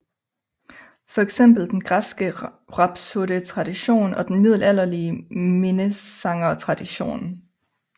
Fx den græske rhapsodetradition og den middelalderlige minnesangertradition